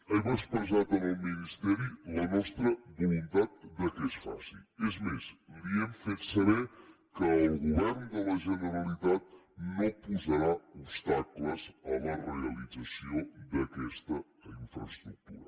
hem expressat al ministeri la nostra voluntat que es faci és més li hem fet saber que el govern de la generalitat no posarà obstacles a la realització d’aquesta infraestructura